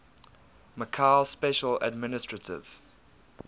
macau special administrative